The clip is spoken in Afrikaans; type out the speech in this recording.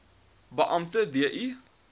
beampte d i